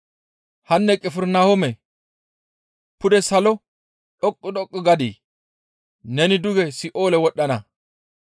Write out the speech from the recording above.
Hanne Qifirnahoome pude salo dhoqqu dhoqqu gadii? Neni duge Si7oole wodhdhana,